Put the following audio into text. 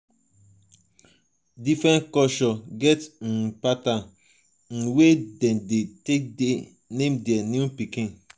different cultures get um pattern um wey dem de take name their newborn pikin